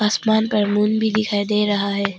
आसमान पर मून भी दिखाई दे रहा है।